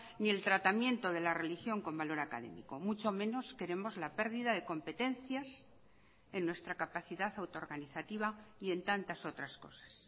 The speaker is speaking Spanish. ni el tratamiento de la religión con valor académico mucho menos queremos la pérdida de competencias en nuestra capacidad auto organizativa y en tantas otras cosas